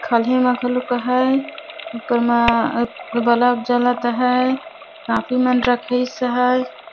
खाल्हे म घलुक अहै ऊपर म बल्ब जलत अहै कॉपी मन रखइस अहै।